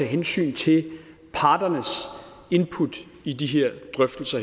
hensyn til parternes input i de her drøftelser